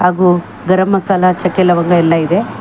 ಹಾಗು ಗರಂ ಮಸಾಲಾ ಚಕ್ಕೆ ಲವಂಗ ಎಲ್ಲ ಇದೆ.